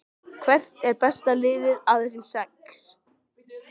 Hvert er besta liðið af þessum sex?